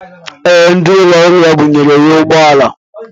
Ee, ndị ụlọ ọrụ ya bunyere ya ụgbọala.